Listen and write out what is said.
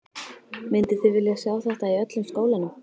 Mynduð þið vilja sjá þetta í öllum skólanum?